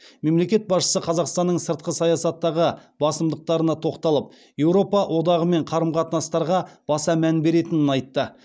мемлекет басшысы қазақстанның сыртқы саясаттағы басымдықтарына тоқталып еуропа одағымен қарым қатынастарға баса мән беретінін айтты